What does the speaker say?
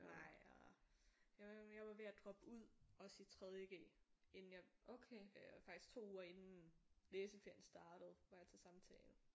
Nej og jeg var jeg var ved at droppe ud også i 3.g inden jeg faktisk 2 uger inden læseferien startede var jeg til samtale